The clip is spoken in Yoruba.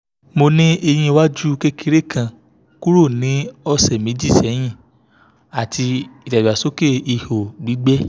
mo ni eyin waju kekere kan kuro ni ọsẹ meji sẹhin ati idagbasoke iho gbigbẹ